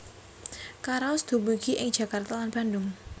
Karaos dumugi ing Jakarta lan Bandung